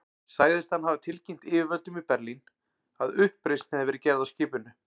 Sagðist hann hafa tilkynnt yfirvöldum í Berlín, að uppreisn hefði verið gerð á skipinu.